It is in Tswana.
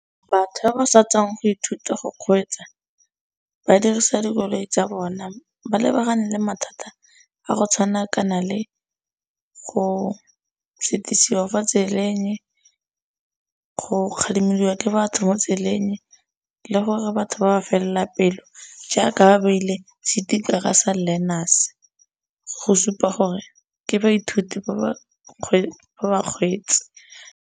Batho ba ba sa tswang go ithuta go kgweetsa ba dirisa dikoloi tsa bona ba lebagane le mathata a go tshwana kana le go fa tseleng go kgalemeliwa ke batho mo tseleng le gore batho ba fela pelo jaaka baile sticker sa learners go supa gore ke baithuti ba bakgweetsi.